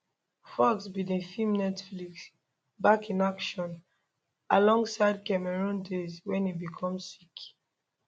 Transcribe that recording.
foxx bin dey film netflix back in action alongside cameron diaz wen e become sick